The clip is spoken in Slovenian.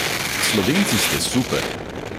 Slovenci ste super!